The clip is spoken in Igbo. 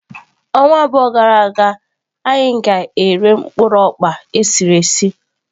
Ọnwa abụọ gara aga anyị ga-ere mkpụrụ okpa esiri esi.